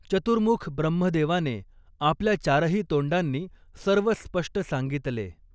चतुर्मुख ब्रह्मदेवाने आपल्या चारही तोंडांनी सर्व स्पष्ट सांगितले.